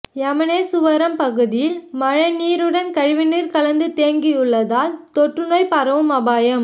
எமனேசுவரம் பகுதியில் மழைநீருடந் கழிவுநீா் கலந்து தேங்கியுள்ளதால் தொற்றுநோய் பரவும் அபாயம்